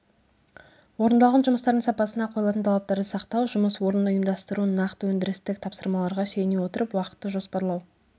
орындалған жұмыстардың сапасына қойылатын талаптарды сақтау жұмыс орнын ұйымдастыру нақты өндірістік тапсырмаларға сүйене отырып уақытты жоспарлау